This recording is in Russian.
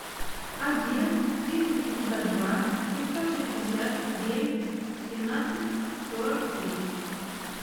один триста пятьдесят два семьсот шестьдесят девять семнадцать сорок три